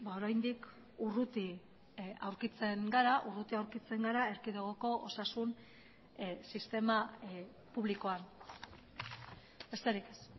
oraindik urruti aurkitzen gara urruti aurkitzen gara erkidegoko osasun sistema publikoan besterik ez